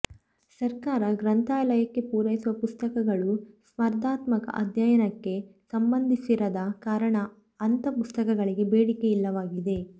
ಸರ್ಕಾರ ಗ್ರಂಥಾಲಯಕ್ಕೆ ಪೂರೈಸುವ ಪುಸ್ತಕಗಳು ಸ್ಪರ್ಧಾತ್ಮಕ ಅಧ್ಯಯನಕ್ಕೆ ಸಂಬಂಧಿಸಿರದ ಕಾರಣ ಅಂಥ ಪುಸ್ತಕಗಳಿಗೆ ಬೇಡಿಕೆ ಇಲ್ಲವಾಗಿದೆ